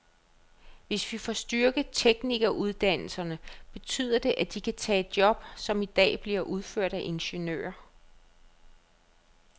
Hvis vi får styrket teknikeruddannelserne, betyder det, at de kan tage job, som i dag bliver udført af ingeniører.